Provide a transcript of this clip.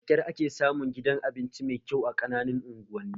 Da kyar ake samun gidan abinci mai kyau a ƙananan unguwanni